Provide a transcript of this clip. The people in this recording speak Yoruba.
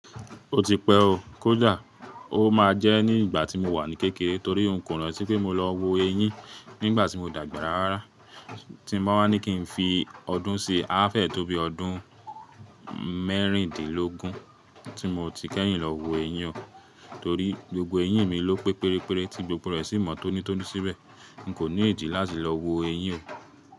Ó ti pẹ́ o, kòda ó máa jẹ́ ní ìgbà tí mo wà ní kékeré torí n kò ran tí pé mo lọ wo eyín nígbà tí mo dàgbà rárá. Tí n ba wa ní kí n fi ọdún sí, àfẹ́ẹ̀ẹ́ tó bí ọdún mẹ́rìndínlógún tí mo ti kẹ́yìn lọ wo ẹyín o. Torí gbogbo eyín mi ló pé péré péré tí gbogbo rẹ̀ sì mọ tónítóní síbẹ̀. N kò ní ìdí láti lọ wo eyín o.